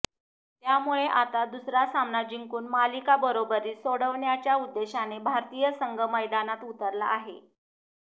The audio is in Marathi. त्यामुळे आता दुसरा सामना जिंकून मालिका बरोबरीत सोडवण्याच्या उद्देशाने भारतीय संघ मैदानात उतरला आहे